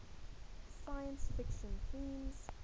science fiction themes